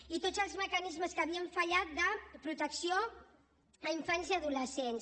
i tots els mecanismes que havien fallat de protecció a infants i adolescents